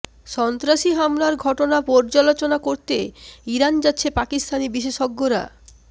সন্ত্রাসী হামলার ঘটনা পর্যালোচনা করতে ইরান যাচ্ছে পাকিস্তানি বিশেষজ্ঞরা